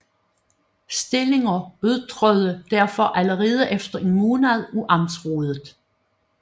Stillinger udtrådte derfor allerede efter en måned af amtsrådet